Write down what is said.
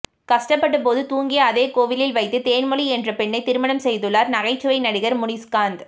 கஷ்டப்பட்ட போது தூங்கிய அதே கோவிலில் வைத்து தேன்மொழி என்ற பெண்ணை திருமணம் செய்துள்ளார் நகைச்சுவை நடிகர் முனிஸ்காந்த்